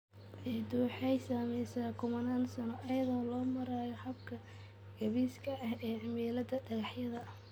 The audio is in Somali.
Ciiddu waxa ay samaysaa kumannaan sano iyada oo loo marayo habka gaabis ah ee cimilada dhagaxyada.